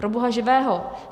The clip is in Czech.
Pro boha živého!